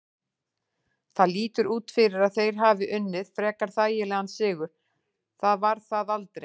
Það lítur út fyrir að þeir hafi unnið frekar þægilegan sigur, það var það aldrei.